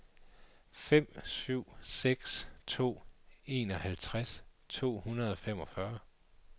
fem syv seks to enoghalvtreds to hundrede og femogfyrre